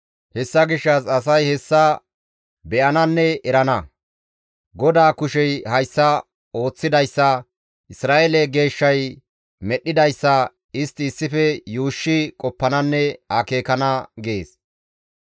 Hessa gishshas asay hessa be7ananne erana; GODAA kushey hayssa ooththidayssa, Isra7eele Geeshshay medhdhidayssa istti issife yuushshi qoppananne akeekana» gees.